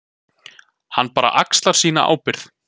Hann bara axlar sína ábyrgð.